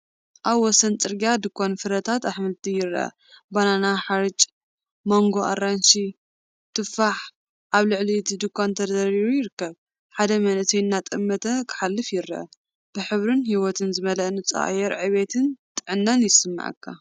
ኣብ ወሰን ጽርግያ ድኳን ፍረታትን ኣሕምልትን ይርአ። ባናና፡ ሓርጭ፡ ማንጎ፡ ኣራንሺን ቱፋሕን ኣብ ልዕሊ እቲ ድኳን ተደራሪቡ ይርከብ። ሓደ መንእሰይ እናጠመተ ክሓልፍ ይረአ። ብሕብርን ህይወትን ዝመልአ ንጹህ ኣየር ዕብየትን ጥዕናን ይስመዓካ።